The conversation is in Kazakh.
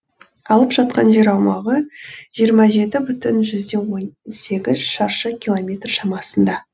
алып жатқан жер аумағы жиырма жеті бүтін жүзден он сегіз шаршы километр шамасында